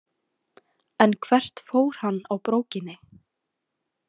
En hvert fór hann á brókinni?